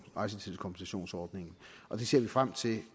rejsetidskompensationsordningen det ser vi frem til